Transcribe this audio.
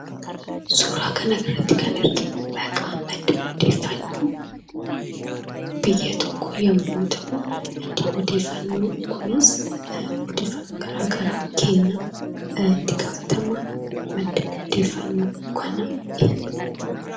Suuraa kanarratti kan arginu, maqaa madda odeeffannoo biyya tokko yemmuu ta'u, maddii odeeffannoo kunis, odeeffannoo garaagaraa kenna. itti gaafatamaan madda odeeffannoo kanaa eenyuudha?